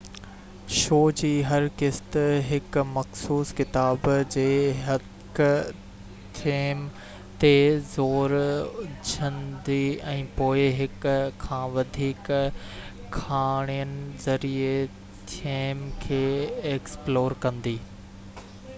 show جي هر قسط هڪ مخصوص ڪتاب جي هڪ ٿيم تي زور وجهندي ۽ پوءِ هڪ کان وڌيڪ ڪهاڻين ذريعي ٿيم کي ايڪسپلور ڪندي